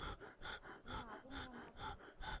laha ku nga na ku